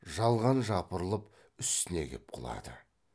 жалған жапырылып үстіне кеп құлады